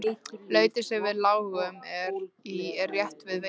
Lautin sem við lágum í er rétt við veginn.